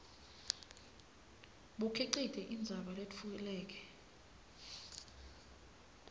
bukhicite indzaba letfuleke